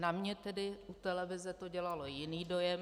Na mě tedy u televize to dělalo jiný dojem.